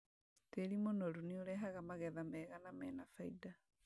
Tĩri mũnoru nĩũrehaga magetha mega na mena baida